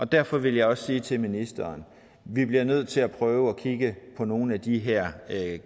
derfor vil jeg også sige til ministeren at vi bliver nødt til at prøve at kigge på nogle af de her